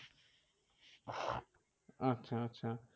আচ্ছা আচ্ছা